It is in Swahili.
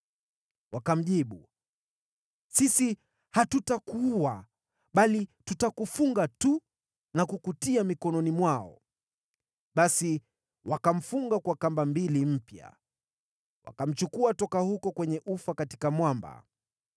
Wakamjibu, “Sisi hatutakuua, bali tutakufunga tu na kukutia mikononi mwao.” Basi wakamfunga kwa kamba mbili mpya. Wakamchukua toka huko kwenye ufa katika mwamba.